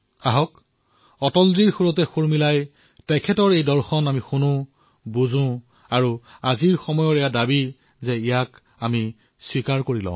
আহক অটলজীৰ সৈতে আমি তেওঁৰ সেই ভাৱনা আমি শুনো বুজো আৰু সময়ৰ যি আহ্বান সেয়া স্বীকাৰ কৰো